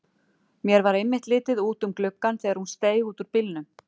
Mér varð einmitt litið út um gluggann þegar hún steig út úr bílnum.